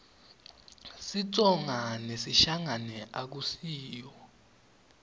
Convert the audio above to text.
sitsonga nesishangane akusiyo